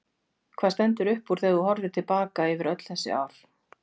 Hvað stendur upp úr þegar þú horfir til baka yfir öll þessi ár?